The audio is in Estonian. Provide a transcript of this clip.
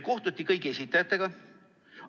Kohtuti kõigi esindajatega.